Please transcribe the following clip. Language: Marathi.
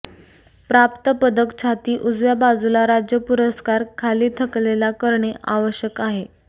प्राप्त पदक छाती उजव्या बाजूला राज्य पुरस्कार खाली थकलेला करणे आवश्यक आहे